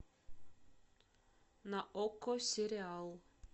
на окко сериал